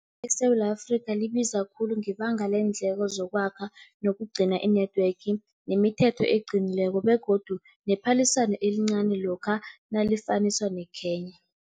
ESewula Afrika, libiza khulu ngebanga leendleko zokwakha nokugcina i-network, nemithetho eqinileko begodu nephaliswano elincani lokha nalifaniswa neKenya.